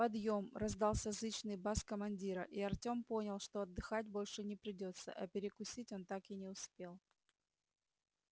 подъём раздался зычный бас командира и артём понял что отдыхать больше не придётся а перекусить он так и не успел